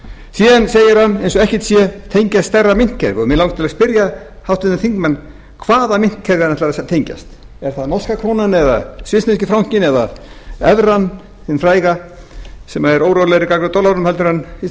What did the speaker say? síðan segir hann eins og ekkert sé tengjast stærra myntkerfi og mig langar til að spyrja háttvirtan þingmann hvaða myntkerfi hann ætlar að tengjast er það norska krónan eða svissneski frankinn eða evran hin fræga sem er órólegri gagnvart dollaranum heldur en íslenska